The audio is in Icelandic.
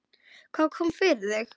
Hvað kom fyrir þig?